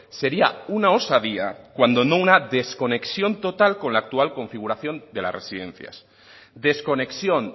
sería una osadía cuando no una desconexión total con la actual configuración de las residencias desconexión